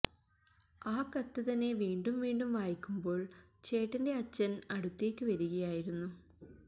ആ കത്ത് തന്നെ വീണ്ടും വീണ്ടും വായിക്കുമ്പോള് ചേട്ടന്റെ അച്ഛന് അടുത്തേക്ക് വരികയായിരുന്നു